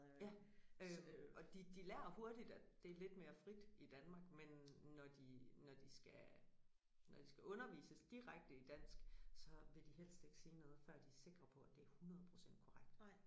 Ja øh og de de lærer hurtigt at det lidt mere frit i Danmark men når de når de skal når de skal undervises direkte i dansk så vil de helst ikke sige noget før de er sikre på at det er 100 procent korrekt